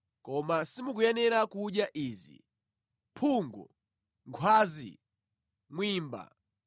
Koma simukuyenera kudya izi: mphungu, nkhwazi, mwimba,